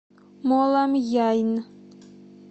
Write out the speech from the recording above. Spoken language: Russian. моламьяйн